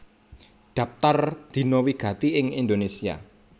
Dhaptar Dina wigati ing Indonésia